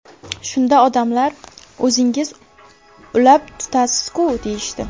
Shunda odamlar: ‘O‘zingiz ulab tutasiz-ku?’ deyishdi.